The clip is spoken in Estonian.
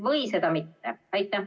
Või seda mitte?